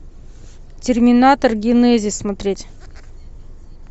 терминатор генезис смотреть